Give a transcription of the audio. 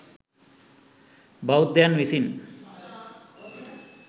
බෞද්ධයන් විසින්